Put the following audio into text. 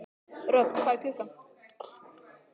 Röfn, hvað er klukkan?